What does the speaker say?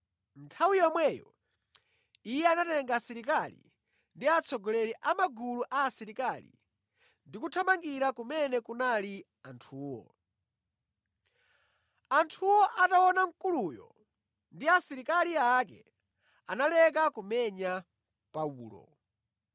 Nthawi yomweyo iye anatenga asilikali ndi atsogoleri a magulu a asilikali ndi kuthamangira kumene kunali anthuwo. Anthuwo ataona mkuluyo ndi asilikali ake analeka kumenya Paulo.